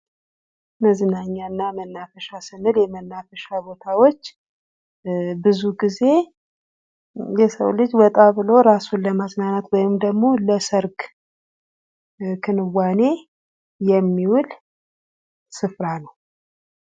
መዝናኛ እና መናፈሻ ስንል የመናፈሻ ቦታዎች እ ብዙ ጊዜ የሰው ልጅ ወጣ ብሎ እራሱን ለማዝናናት ወይም ደግሞ ለሰርግ ክንዋኔ የሚውል ስፍራ ነው።